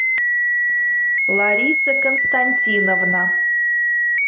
лариса константиновна